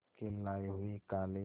के लाए हुए काले